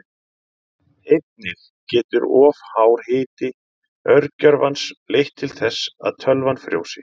Einnig getur of hár hiti örgjörvans leitt til þess að tölvan frjósi.